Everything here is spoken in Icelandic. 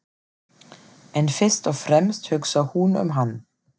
En fyrst og fremst hugsar hún um hann.